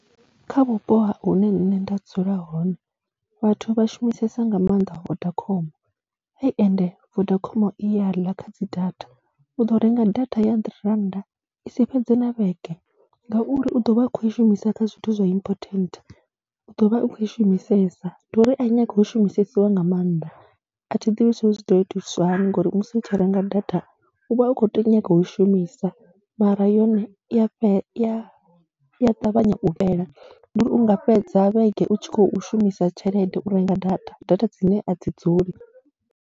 Kha vhupo hune nṋe nda dzula hone vhathu vha shumisesa nga maanḓa Vodacom, he ende Vodacom i ya ḽa kha dzi data, u ḓo renga data ya handirente rannda i si fhedze na vhege ngauri u ḓo vha a khou i shumisa kha zwithu zwa important. U ḓo vha u khou i shumisesa, ndi uri a nyagi u shumisesiwa nga maanḓa. A thi ḓivhi zwa uri zwi ḓo itiswa hani ngori musi u tshi renga data u vha u khou nyanga u i shumisa mara yone i ya ṱavhanya u fhela, ndi uri u nga fhedza vhege u tshi khou shumisa tshelede u renga data, data dzine a dzi dzuli.